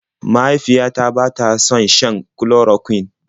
Mahaifiyata bata son shan chloroquine.